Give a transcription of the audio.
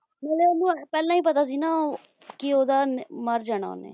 ਪਹਿਲਾਂ ਓਹਨੂੰ ਪਹਿਲਾਂ ਓਹਨੂੰ ਪਤਾ ਸੀ ਨਾ ਕਿ ਓਹਦਾ ਮਰ ਜਾਣਾ ਓਹਨੇ